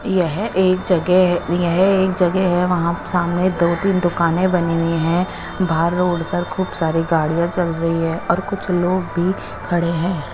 येह एक जगे है येह एक जगे है वहा सामने दो तिन दुकाने बनी हुई है बाहर रोड पर खूब सारी गाडिया चल रही है और कुछ लोग भी खड़े है।